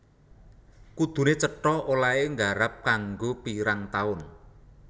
Kuduné cetha olèhé garap kanggo pirang taun